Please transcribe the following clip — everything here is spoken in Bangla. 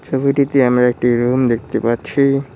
ছবিটিতে আমরা একটি রুম দেখতে পাচ্ছি।